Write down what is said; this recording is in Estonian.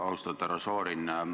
Austatud härra Šorin!